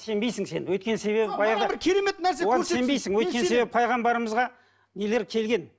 сенбейсің сен өйткені себебі баяғыда өйткені пайғамбарымызға нелер келген